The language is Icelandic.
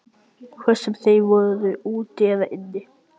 Hvort sem þeir voru úti eða inni.